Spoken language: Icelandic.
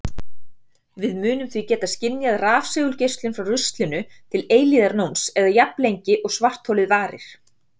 Við mundum því geta skynjað rafsegulgeislun frá ruslinu til eilífðarnóns eða jafnlengi og svartholið varir!